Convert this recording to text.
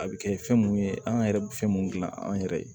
A bɛ kɛ fɛn mun ye an yɛrɛ bɛ fɛn mun gilan an yɛrɛ ye